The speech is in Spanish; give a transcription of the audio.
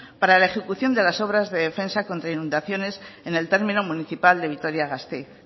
para la ejecución de las obras de defensa contra inundaciones en el término municipal de vitoria gasteiz